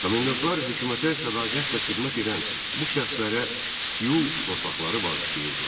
Komendantlar hökumətə sədaqətlə xidmət edən bu şəxslərə tiyul torpaqları bağışlayırdılar.